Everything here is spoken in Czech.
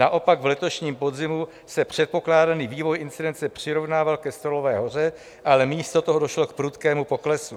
Naopak v letošním podzimu se předpokládaný vývoj incidence přirovnával ke stolové hoře, ale místo toho došlo k prudkému poklesu.